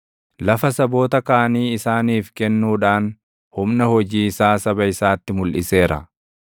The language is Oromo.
Lafa saboota kaanii isaaniif kennuudhaan humna hojii isaa saba isaatti mulʼiseera.